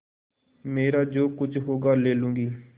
मेरा जो कुछ होगा ले लूँगी